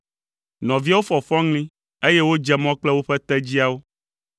Nɔviawo fɔ fɔŋli, eye wodze mɔ kple woƒe tedziawo.